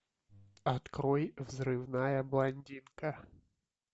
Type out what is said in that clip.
открой взрывная блондинка